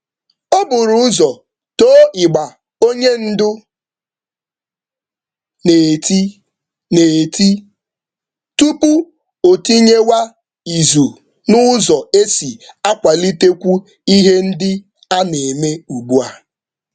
Ọ toro ndu oga tupu ya atụ aro ndozi na usoro dị ugbu a.